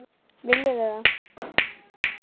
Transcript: Viljum við það?